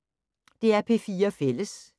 DR P4 Fælles